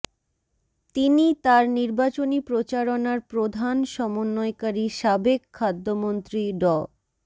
তিনি তার নির্বাচনী প্রচারণার প্রধান সমন্বয়কারী সাবেক খাদ্যমন্ত্রী ড